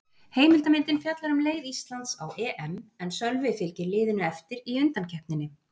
Heimildarmyndin fjallar um leið Íslands á EM en Sölvi fylgir liðinu eftir í undankeppninni.